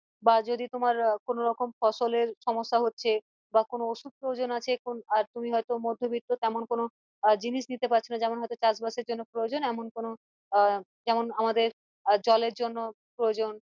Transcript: বা যদি তোমার কোনোরকম ফসলের সমস্যা হচ্ছে বা কোনো ওষুধ প্রয়োজন আছে আহ তুমি হয়তো মদ্ধবৃত্ত তেমন কোনো জিনিস দিতে পারছোনা যেমন হয়তো চাষ বাসের জন্য প্রয়োজন এমন কোনো আহ যেমন আমাদের জলের জন্য প্রয়োজন